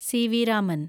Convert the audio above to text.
CV. Raman